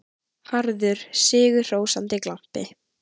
Harður, sigrihrósandi glampi.